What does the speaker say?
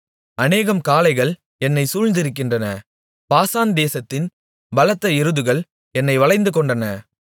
அநேகம் காளைகள் என்னைச் சூழ்ந்திருக்கின்றன பாசான் தேசத்தின் பலத்த எருதுகள் என்னை வளைந்து கொண்டன